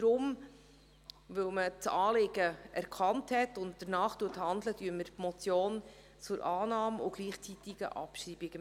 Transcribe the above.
Weil man das Anliegen erkannt hat und danach handelt, empfehlen wir den Punkt als Motion zur Annahme und gleichzeitigen Abschreibung.